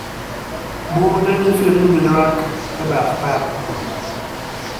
Bunde gi firimbi yuak e path pap.